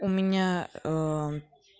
у меня ээ